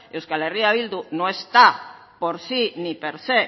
euskal herria bildu no está por sí ni per sé